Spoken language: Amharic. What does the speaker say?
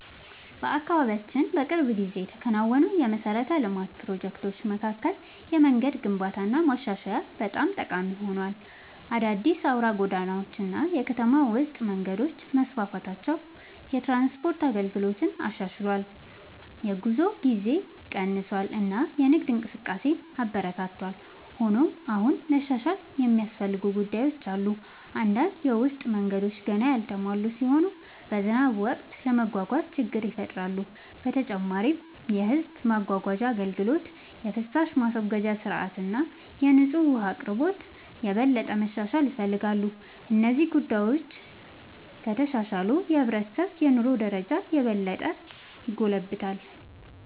በአካባቢያችን በቅርብ ጊዜ ከተከናወኑ የመሠረተ ልማት ፕሮጀክቶች መካከል የመንገድ ግንባታና ማሻሻያ በጣም ጠቃሚ ሆኗል። አዳዲስ አውራ ጎዳናዎች እና የከተማ ውስጥ መንገዶች መስፋፋታቸው የትራንስፖርት አገልግሎትን አሻሽሏል፣ የጉዞ ጊዜን ቀንሷል እና የንግድ እንቅስቃሴን አበረታቷል። ሆኖም አሁንም መሻሻል የሚያስፈልጉ ጉዳዮች አሉ። አንዳንድ የውስጥ መንገዶች ገና ያልተሟሉ ሲሆኑ በዝናብ ወቅት ለመጓጓዝ ችግር ይፈጥራሉ። በተጨማሪም የሕዝብ ማጓጓዣ አገልግሎት፣ የፍሳሽ ማስወገጃ ሥርዓት እና የንጹህ ውኃ አቅርቦት የበለጠ መሻሻል ይፈልጋሉ። እነዚህ ጉዳዮች ከተሻሻሉ የሕብረተሰቡ የኑሮ ደረጃ የበለጠ ይጎለብታል።